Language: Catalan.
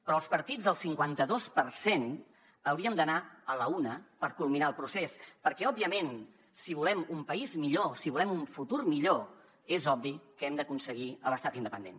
però els partits del cinquanta dos per cent hauríem d’anar a l’una per culminar el procés perquè òbviament si volem un país millor si volem un futur millor és obvi que hem d’aconseguir l’estat independent